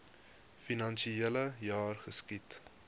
finansiele jaar geskied